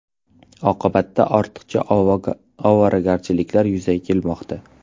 Oqibatda ortiqcha ovoragarchiliklar yuzaga kelmoqda.